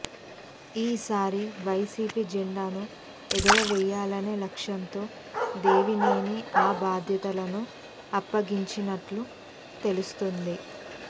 ఈ సారి వైసీపీ జెండాను ఎగురవేయాలనే లక్ష్యంతో దేవినేనికి ఆ బాధ్యతలను అప్పగించినట్లు తెలుస్తోంది